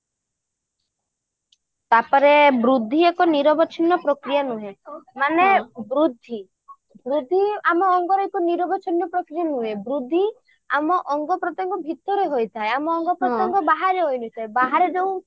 ତାପରେ ବୃଦ୍ଧି ଏକ ନିରବିଛିନ୍ନ ପ୍ରକ୍ରିୟା ନୁହେଁ ମାନେ ବୃଦ୍ଧି ବୃଦ୍ଧି ଆମ ଅଙ୍ଗରା ଏକ ନିରବିଛିନ୍ନ ପ୍ରକ୍ରିୟା ନୁହେଁ ବୃଦ୍ଧି ଆମ ଅଙ୍ଗ ପ୍ରତ୍ୟଙ୍ଗ ଭିତରେ ହୋଇଥାଏ ଆମ ଅଙ୍ଗ ପ୍ରତ୍ୟଙ୍ଗ ବାହାରେ ହୋଇ ନଥାଏ ବାହାରେ ଯୋଉ